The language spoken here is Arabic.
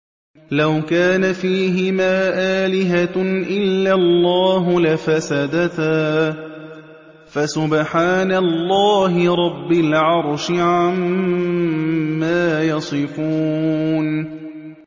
لَوْ كَانَ فِيهِمَا آلِهَةٌ إِلَّا اللَّهُ لَفَسَدَتَا ۚ فَسُبْحَانَ اللَّهِ رَبِّ الْعَرْشِ عَمَّا يَصِفُونَ